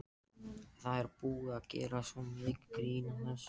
Það er búið að gera svo mikið grín að þessu.